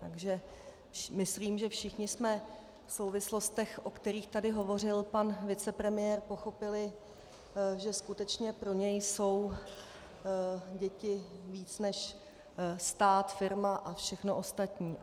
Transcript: Takže myslím, že všichni jsme v souvislostech, o kterých tady hovořil pan vicepremiér, pochopili, že skutečně pro něj jsou děti víc než stát, firma a všechno ostatní.